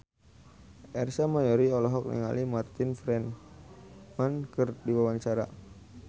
Ersa Mayori olohok ningali Martin Freeman keur diwawancara